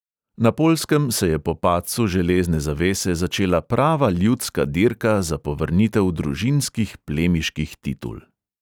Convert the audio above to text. Na poljskem se je po padcu železne zavese začela prava ljudska dirka za povrnitev družinskih plemiških titul.